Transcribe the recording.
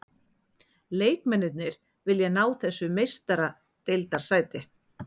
Leikmennirnir vilja ná þessu meistaradeildarsæti.